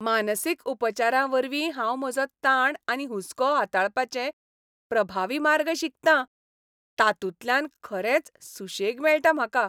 मानसीक उपचारावरवीं हांव म्हजो ताण आनी हुस्को हाताळपाचे प्रभावी मार्ग शिकतां ताातूंतल्यान खरेंच सुशेग मेळटा म्हाका.